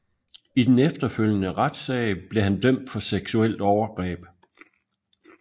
I den efterfølgende retssag blev han dømt for seksuelt overgreb